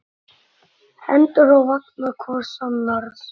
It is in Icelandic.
Hendur á vanga hvors annars.